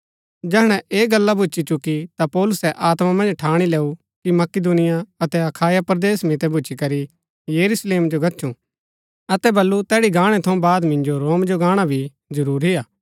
जैहणै ऐह गल्ला भूच्ची चुकी ता पौलुसै आत्मा मन्ज ठाणी लैऊ कि मकिदुनिया अतै अखाया परदेस मितै भूच्ची करी यरूशलेम जो गच्छु अतै बल्लू तैड़ी गाणै थऊँ बाद मिन्जो रोम जो गाणा भी जरूरी हा